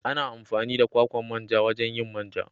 Ana amfani da kwakwan manja wajen yin man ja.